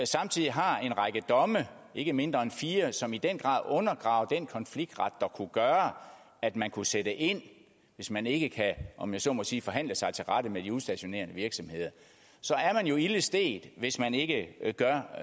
samtidig har en række domme ikke mindre end fire som i den grad undergraver den konfliktret der kunne gøre at man kunne sætte ind hvis man ikke kan om jeg så må sige forhandle sig tilrette med de udstationerende virksomheder så er man jo ilde stedt hvis man ikke gør